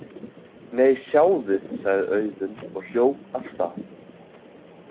Nei, sjáðu, sagði Auðunn og hljóp af stað.